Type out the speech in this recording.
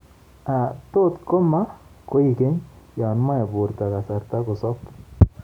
Tot koma koigeny yoon moe borto kasarta kosob